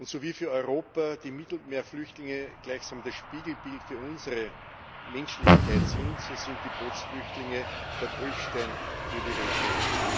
So wie für Europa die Mittelmeerflüchtlinge gleichsam das Spiegelbild für unsere Menschlichkeit sind, so sind die Bootsflüchtlinge der Prüfstein für die Region.